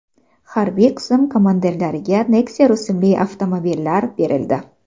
Harbiy qism komandirlariga Nexia rusumli avtomobillar berildi.